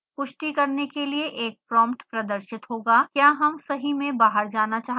पुष्टि करने के लिए एक प्रोम्प्ट प्रदर्शित होगा क्या हम सही में बाहर जाना चाहते हैं